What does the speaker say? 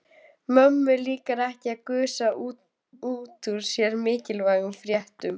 Mömmu líkar ekki að gusa út úr sér mikilvægum fréttum.